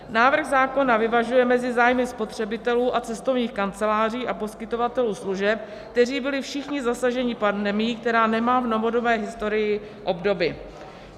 Návrh zákona vyvažuje mezi zájmy spotřebitelů a cestovních kanceláří a poskytovatelů služeb, kteří byli všichni zasaženi pandemií, která nemá v novodobé historii obdoby.